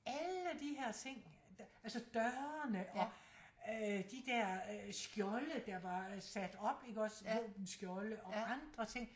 Alle de her ting altså dørene og øh de der øh skjolde der var sat op iggås våbenskjolde og andre ting